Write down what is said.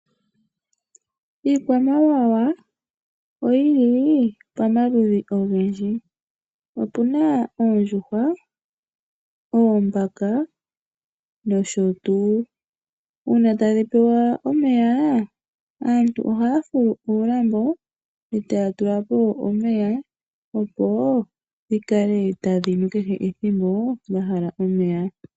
Iikwamawawa oyili pamaludhi ogendji. Opuna oondjuhwa, oombaka nosho tuu. Uuna tadhi pewa omeya aantu ohaya fulu uulambo etaya tula po omeya opo dhi kale tadhi nu kehe ethimbo dha hala omeya.